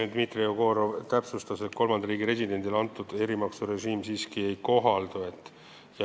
Dimitri Jegorov täpsustas, et kolmanda riigi residendile see erimaksurežiim siiski ei kohaldu.